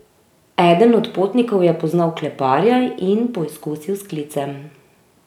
Eden od potnikov je poznal kleparja in poizkusil s klicem.